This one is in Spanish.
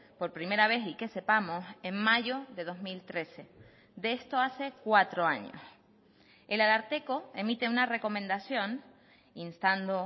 por primera vez y que sepamos en mayo de dos mil trece de esto hace cuatro años el ararteko emite una recomendación instando